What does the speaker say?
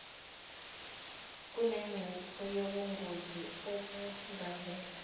kunengcuphe yobungozi obungavela